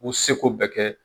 U seko bɛɛ kɛ.